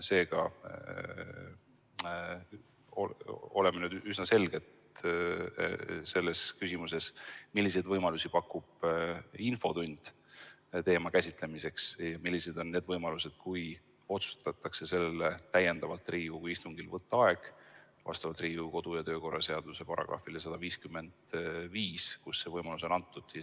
Seega, oleme nüüd üsna selged selles küsimuses, milliseid võimalusi pakub infotund teema käsitlemiseks, ja millised on need võimalused, kui otsustatakse selleks Riigikogu istungil võtta ekstra aeg vastavalt Riigikogu kodu- ja töökorra seaduse §‑le 155, kus see võimalus on antud.